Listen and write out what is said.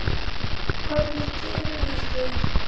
Hvernig dirfist þér.